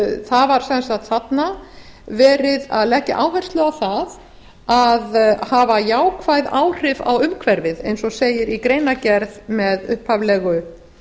það var sem sagt þarna verið að leggja áherslu á það að hafa jákvæð áhrif á umhverfið eins og segir í greinargerð með upphaflegu